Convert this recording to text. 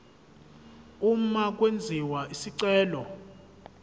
uma kwenziwa isicelo